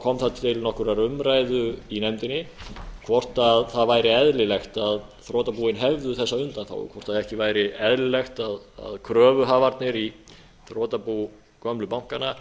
kom það til nokkurrar umræðu í nefndinni hvort það væri eðlilegt að þrotabúin hefðu þessa undanþágu hvort ekki væri eðlilegt að kröfuhafarnir í þrotabú gömlu bankanna